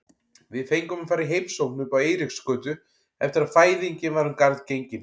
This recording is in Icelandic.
Við fengum að fara í heimsókn uppá Eiríksgötu eftir að fæðingin var um garð gengin.